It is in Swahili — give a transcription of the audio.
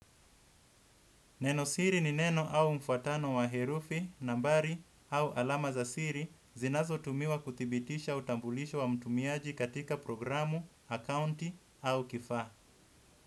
Nenosiri ni neno au mfuatano wa herufi, nambari au alama za siri zinazotumiwa kudhibitisha utambulisho wa mtumiaji katika programu, akaunti au kifaa.